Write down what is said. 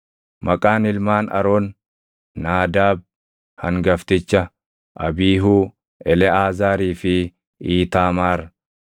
Maqaan ilmaan Aroon: Naadaab hangafticha, Abiihuu, Eleʼaazaarii fi Iitaamaar.